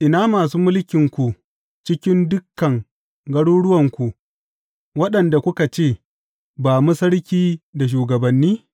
Ina masu mulkinku cikin dukan garuruwanku, waɗanda kuka ce, Ba mu sarki da shugabanni’?